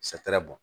bɔn